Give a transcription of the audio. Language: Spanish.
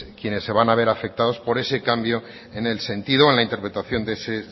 quienes se van a ver afectados por ese cambio en el sentido o en la interpretación de ese